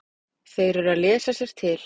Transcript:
Þeir eru að lesa sér til.